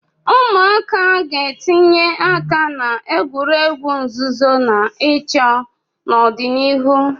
Ụmụaka ga-etinye aka na egwuregwu nzuzo na ịchọ n'ọdịnihu.